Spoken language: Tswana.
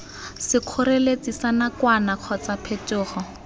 sekgoreletsi sa nakwana kgotsa phetogo